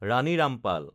Rani Rampal